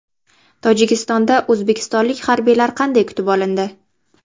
Tojikistonda o‘zbekistonlik harbiylar qanday kutib olindi?